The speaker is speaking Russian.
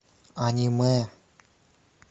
аниме